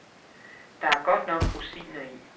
Der er godt nok rosiner i.